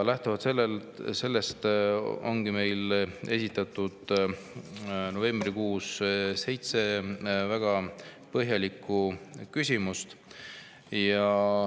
Lähtuvalt sellest ongi meil esitatud novembrikuus seitse väga põhjalikku küsimust.